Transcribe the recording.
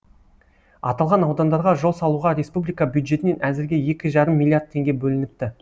аталған аудандарға жол салуға республика бюджетінен әзірге екі жарым миллиард теңге бөлініпті